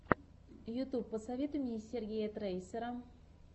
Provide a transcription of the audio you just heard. ютюб посоветуй мне сергея трейсера